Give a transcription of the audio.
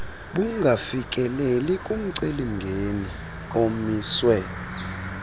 bungafikeleli kumceli mngeniomiswe